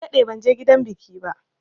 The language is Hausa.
Na daɗe banje gidan biki ba.